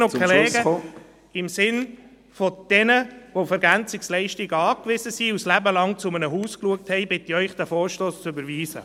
Kolleginnen und Kollegen, im Sinne von jenen, welche auf EL angewiesen sind und zeitlebens zu einem Haus geschaut haben, bitte ich Sie, diesen Vorstoss zu überweisen.